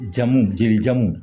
Jamuw jeli jamu